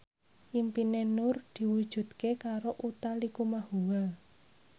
impine Nur diwujudke karo Utha Likumahua